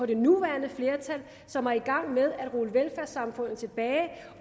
det nuværende flertal som er i gang med at rulle velfærdssamfundet tilbage